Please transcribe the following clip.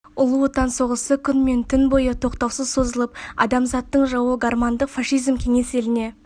ұлы отан соғысы күн мен түн бойы тоқтаусыз созылып адамзаттың жауы гармандық фашизм кеңес еліне